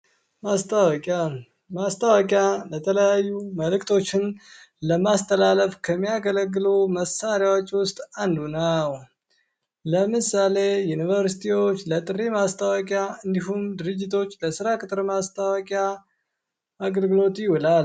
ማስታወቂያ ማስታወቂያ የተለያዩ መልክቶችን ለማስተላለፍ ከሚያገለግሉት መሳሪያዎች ውስጥ አንዱ ነው። ለምሳሌ ዩኒቨርሲቲዎች ለጥሪ ማስታወቂያ እንዲሁም ድርጅቶች ለስራ ቅጥር ማስታወቂያ አገልግሎት ይውላልደ